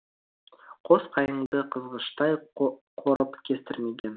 қос қайыңды қызғыштай қорып кестірмеген